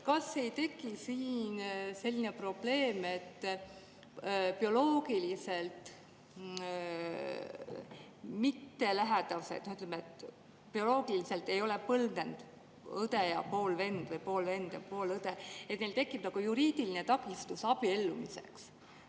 Kas ei teki siin selline probleem, et nendel, kes on bioloogiliselt mittelähedased, ei ole bioloogilist põlvnemist, näiteks õde ja poolvend või poolvend ja poolõde, tekib juriidiline takistus abiellumiseks?